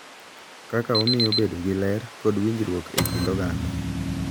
Kaka omiyo bedo gi ler kod winjruok e kind oganda.